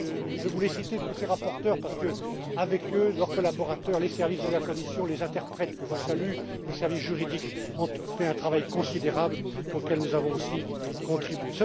Je voulais citer tous ces rapporteurs parce qu'eux, leurs collaborateurs, les services de la Commission, les interprètes que je salue et le service juridique ont fait un travail considérable, auquel nous avons aussi